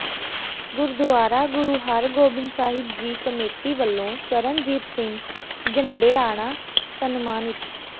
Gurdwara Guru Hargobind Sahib ji committee ਵਲੋਂ ਚਰਨਜੀਤ ਸਿੰਘ ਝੰਡੇਆਣਾ ਸਨਮਾਨਿਤ